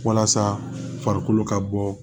Walasa farikolo ka bɔ